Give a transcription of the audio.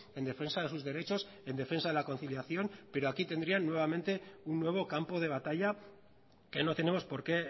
en defensa de sus derechos en defensa de la conciliación pero aquí tendrían nuevamente un nuevo campo de batalla que no tenemos porque